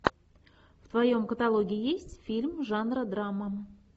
в твоем каталоге есть фильм жанра драма